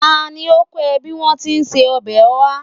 Ta ni ó kọ́ ẹ bí wọn tí ń se ọbẹ̀ oha?